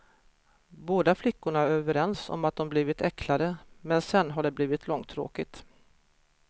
Båda flickorna är överens om att de blivit äcklade, men sen har det blivit långtråkigt.